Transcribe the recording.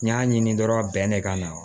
N y'a ɲini dɔrɔn bɛn ne ka na